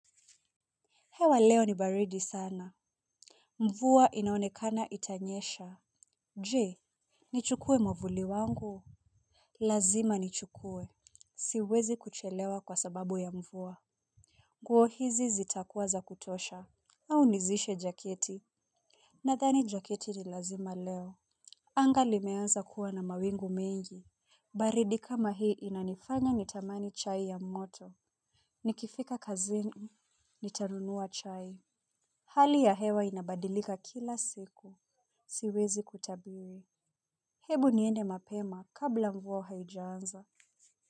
Hewa leo ni baridi sana. Mvua inaonekana itanyesha. Je? Nichukue mwavuli wangu? Lazima nichukue, siwezi kuchelewa kwa sababu ya mvua. Nguo hizi zitakuwa za kutosha. Au nizishe jaketi? Nadhani jaketi ni lazima leo. Anga limeanza kuwa na mawingu mengi. Baridi kama hii inanifanya nitamani chai ya moto. Nikifika kazini, nitanunua chai. Hali ya hewa inabadilika kila siku. Siwezi kutabiwe, hebu niende mapema kabla mvua haijanza.